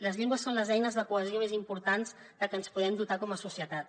les llengües són les eines de cohesió més importants de què ens podem dotar com a societat